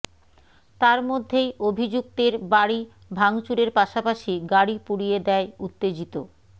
তার মধ্যেই অভিযুক্তের বাড়ি ভাঙচুরের পাশাপাশি গাড়ি পুড়িয়ে দেয় উত্তেজিত